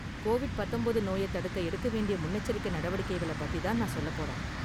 Covid பத்தொன்பது நோய தடுக்க எடுக்க வேண்டிய முன்னெச்சரிக்கை நடவடிக்கைகள பத்தி தான் நான் சொல்லப் போறேன்